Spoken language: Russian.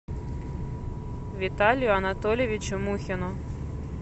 виталию анатольевичу мухину